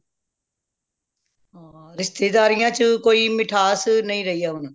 ਰਿਸ਼ਤੇਦਾਰੀਆਂ ਚ ਕੋਈ ਮਿਠਾਸ ਨਹੀਂ ਰਹੀ ਏ ਹੁਣ